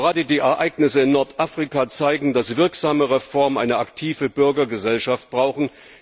Denn gerade die Ereignisse in Nordafrika zeigen, dass wirksame Reformen eine aktive Bürgergesellschaft brauchen.